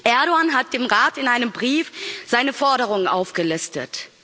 Erdoğan hat dem Rat in einem Brief seine Forderungen aufgelistet.